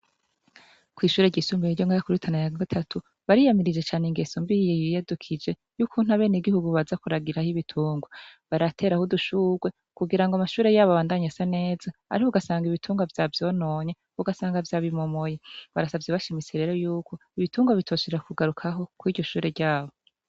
Kw'ishure ryisumbuye iryo ngarakurutana ya gatatu bariyamirije cane ingeso mbiye yiyadukije y'ukuntu abene gihugu baza kuragira aho ibitunga baratera ahoudushurwe kugira ngo amashure yabo bandanye sa neza, ariko ugasanga ibitungwa vya vyononye ugasanga vy'ab imumoye barasavye bashimise rero yuko ibitunga bitoshurra kugarukaho ko iryo shure ryabo.